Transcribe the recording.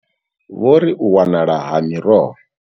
Vho ri, U wanala ha miroho.